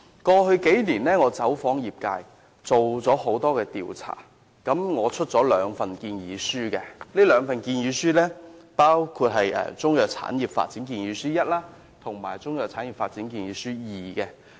過去數年，我走訪了業界，進行了多項調查，分別在2014年和2016年發表了"香港中藥產業發展建議書一"及"香港中藥產業發展建議書二"")。